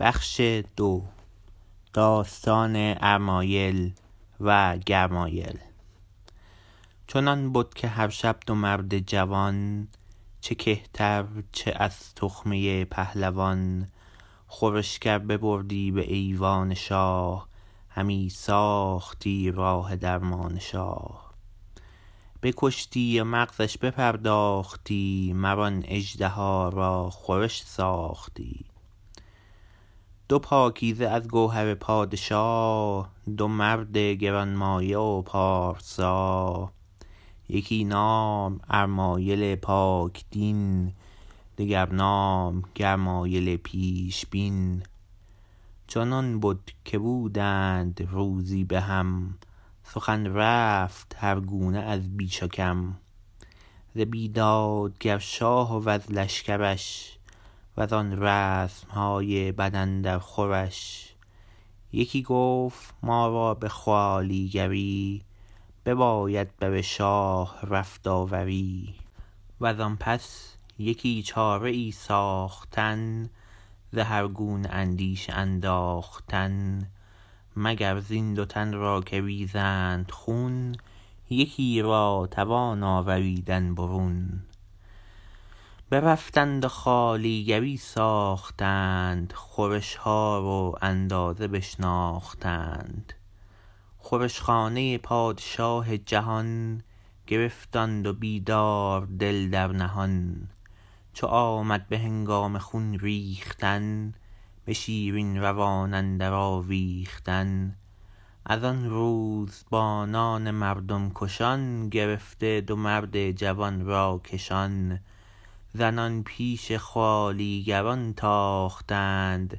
چنان بد که هر شب دو مرد جوان چه کهتر چه از تخمه پهلوان خورشگر ببردی به ایوان شاه همی ساختی راه درمان شاه بکشتی و مغزش بپرداختی مر آن اژدها را خورش ساختی دو پاکیزه از گوهر پادشا دو مرد گرانمایه و پارسا یکی نام ارمایل پاک دین دگر نام گرمایل پیشبین چنان بد که بودند روزی به هم سخن رفت هر گونه از بیش و کم ز بیدادگر شاه وز لشکرش و زان رسم های بد اندر خورش یکی گفت ما را به خوالیگری بباید بر شاه رفت آوری و زان پس یکی چاره ای ساختن ز هر گونه اندیشه انداختن مگر زین دو تن را که ریزند خون یکی را توان آوریدن برون برفتند و خوالیگری ساختند خورش ها و اندازه بشناختند خورش خانه پادشاه جهان گرفت آن دو بیدار دل در نهان چو آمد به هنگام خون ریختن به شیرین روان اندر آویختن از آن روزبانان مردم کشان گرفته دو مرد جوان را کشان زنان پیش خوالیگران تاختند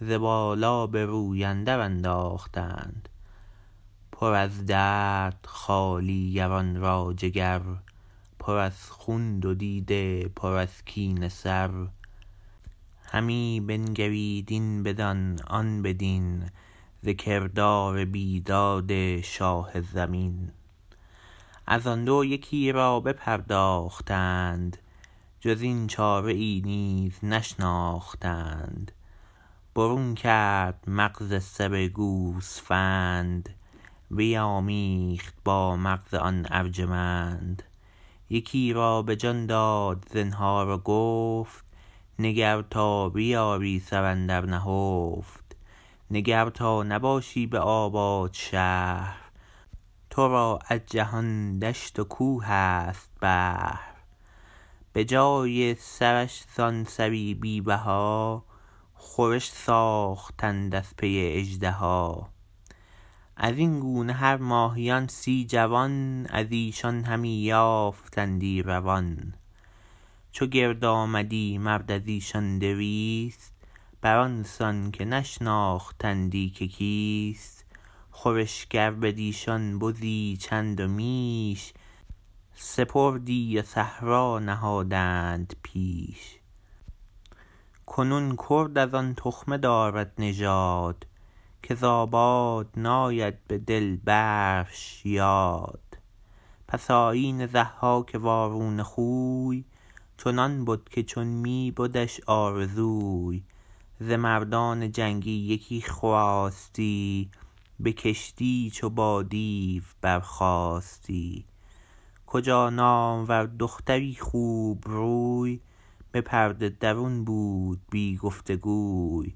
ز بالا به روی اندر انداختند پر از درد خوالیگران را جگر پر از خون دو دیده پر از کینه سر همی بنگرید این بدان آن بدین ز کردار بیداد شاه زمین از آن دو یکی را بپرداختند جز این چاره ای نیز نشناختند برون کرد مغز سر گوسفند بیامیخت با مغز آن ارجمند یکی را به جان داد زنهار و گفت نگر تا بیاری سر اندر نهفت نگر تا نباشی به آباد شهر تو را از جهان دشت و کوه است بهر به جای سرش زان سری بی بها خورش ساختند از پی اژدها از این گونه هر ماهیان سی جوان از ایشان همی یافتندی روان چو گرد آمدی مرد از ایشان دویست بر آن سان که نشناختندی که کیست خورشگر بدیشان بزی چند و میش سپردی و صحرا نهادند پیش کنون کرد از آن تخمه دارد نژاد که ز آباد ناید به دل برش یاد پس آیین ضحاک وارونه خوی چنان بد که چون می بدش آرزوی ز مردان جنگی یکی خواستی بکشتی چو با دیو برخاستی کجا نامور دختری خوبروی به پرده درون بود بی گفت گوی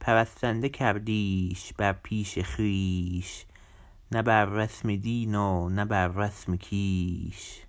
پرستنده کردیش بر پیش خویش نه بر رسم دین و نه بر رسم کیش